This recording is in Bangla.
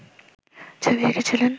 ছবি এঁকেছিলেন